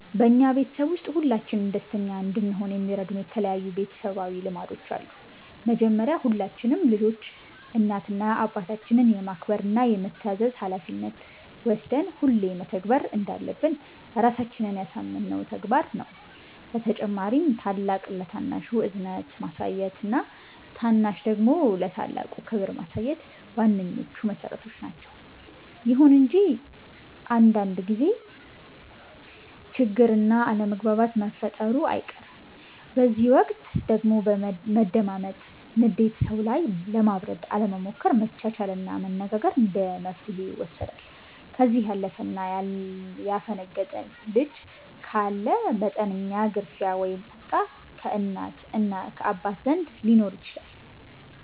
በኛ ቤተሰብ ውስጥ ሁላችንም ደስተኛ እንድሆን የሚረዱን የተለያዩ ቤተሰባዊ ልማዶች አሉ። መጀመሪያ ሁላችንም ልጆች እናት እና አባታችንን የማክበር እና የመታዘዝ ሀላፊነት ወስደን ሁሌ መተግበር እንዳለብን ራሳችንን ያሳመነው ተግባር ነው። በተጨማሪም ታላቅ ለታናሹ እዝነት ማሳየት እና ታናሽ ደግሞ ለታላቅ ክብር ማሳየት ዋነኞቹ መሠረቶች ናቸዉ። ይሁን እንጂ አንዳንድ ጊዜ ችግር እና አለመግባባት መፈጠሩ አይቀርም፤ በዚህ ወቅት ደግሞ መደማመጥ፣ ንዴት ሰዉ ላይ ለማብረድ አለመሞከር፣ መቻቻል እና መነጋገር እንደመፍትሔ ይወሰዳሉ። ከዚህ ያለፈ እና ያፈነገጠ ልጅ ካለ መጠነኛ ግርፊያ ወይም ቁጣ ከእናት እና ከአባት ዘንድ ሊኖር ይችላል።